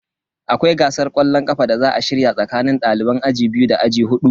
Akwai gasar kwallon kafa da za a shirya tsakanin daliban aji biyu da aji hudu.